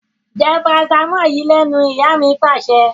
Jẹ́ paracetamol yìí lẹ́nu! Ìyá mi Pàṣẹ.